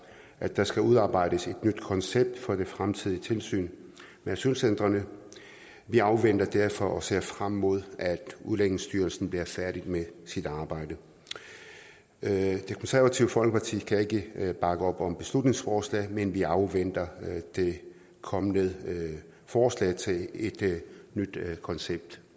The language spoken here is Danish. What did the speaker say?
at der skal udarbejdes et nyt koncept for det fremtidige tilsyn med asylcentrene vi afventer derfor dette og ser frem imod at udlændingestyrelsen bliver færdig med sit arbejde det konservative folkeparti kan ikke bakke op om beslutningsforslaget men vi afventer det kommende forslag til et nyt koncept